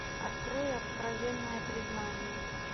открой откровенное признание